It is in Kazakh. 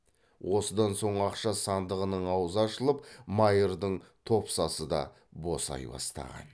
осыдан соң ақша сандығының аузы ашылып майырдың топсасы да босай бастаған